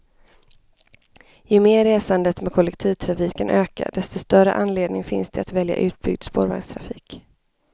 Ju mer resandet med kollektivtrafiken ökar desto större anledning finns det att välja utbyggd spårvagnstrafik.